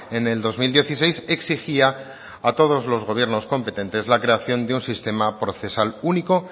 en el dos mil dieciséis exigía a todos los gobiernos competentes la creación de un sistema procesal único